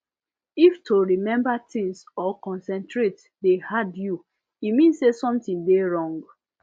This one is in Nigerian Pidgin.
if to remember things or concentrate dey hard you e mean say something dey wrong